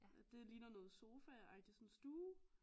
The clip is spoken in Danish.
Det ligner noget sofaagtig sådan stue